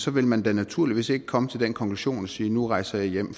vil man da naturligvis ikke komme til den konklusion siger nu rejser jeg hjem